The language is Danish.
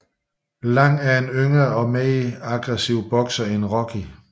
Lang er en yngre og mere aggressiv bokser end Rocky